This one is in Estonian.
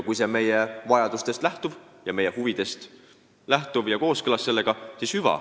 Kui see lähtub meie vajadustest ja on kooskõlas meie huvidega, siis hüva.